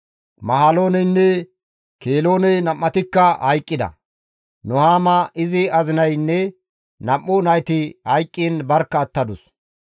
Mahalooneynne Kelooney nam7atikka hayqqida. Nuhaama izi azinaynne nam7u nayti hayqqiin barkka attadus.